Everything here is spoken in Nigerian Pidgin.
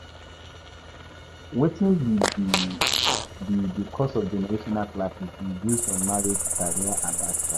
Wetin be di cause of generational clashes in views on marriage, career and lifestyle?